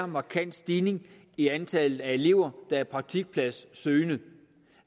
markant stigning i antallet af elever der er praktikpladssøgende